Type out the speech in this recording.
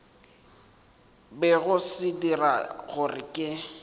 bego se dira gore ke